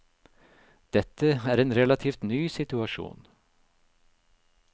Dette er en relativt ny situasjon.